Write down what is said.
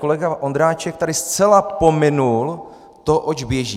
Kolega Ondráček tady zcela pominul to, oč běží.